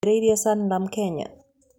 Nũũ waambĩrĩirie Sanlam Kenya?